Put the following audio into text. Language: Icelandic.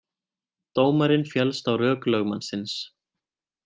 Dómarinn féllst á rök lögmannsins